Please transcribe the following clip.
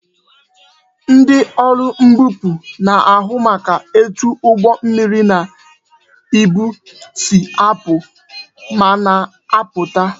Ndị ọrụ mbupu na-ahụ maka etu ụgbọ mmiri na ibu si apụ ma na abata